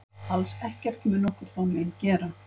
Alls ekkert mun okkur þá mein gera.